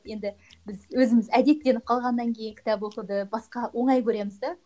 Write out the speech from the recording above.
енді біз өзіміз әдеттеніп қалғаннан кейін кітап оқуды басқа оңай көреміз де